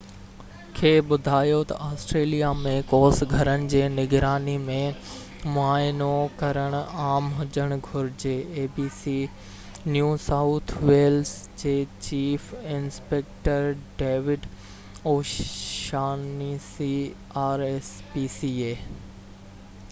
rspca New South Wales جي chief inspector David O'Shaughnessy abc کي ٻڌايو تہ آسٽريليا ۾ ڪوس گهرن جي نگراني ۽ معائنو ڪرڻ عام هجڻ گهرجي